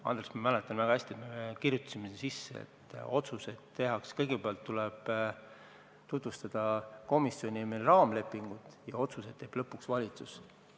Andres, ma mäletan väga hästi, et me panime kirja, et otsuseid tehakse nii, et kõigepealt tuleb tutvustada meie komisjonis raamlepingut ja otsused teeb lõpuks valitsus.